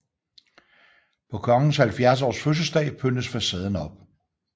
På Kongens 70 års fødselsdag pyntes facaden op